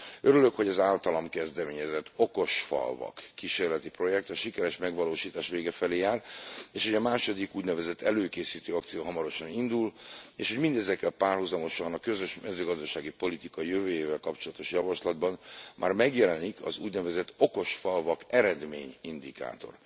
Örülök, hogy az általam kezdeményezett okosfalvak kísérleti projekt a sikeres megvalósítás vége felé jár, és hogy a második, úgynevezett előkészítő akció hamarosan indul, és hogy mindezekkel párhuzamosan a közös mezőgazdasági politika jövőjével kapcsolatos javaslatban már megjelenik az úgynevezett okosfalvak eredményindikátor.